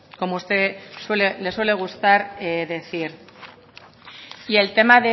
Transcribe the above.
como usted le suele gustar decir y el tema